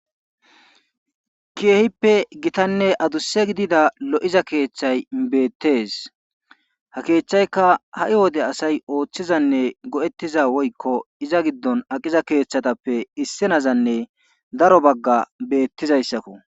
Keehippe gitanne adussa gidida lo7iza keeththay beettes ha keeththayka ha7i wode asay oothizanne go7ettiza woykko iza giddon aqiza keethatape issinazanne daro bagga beettizaysakko.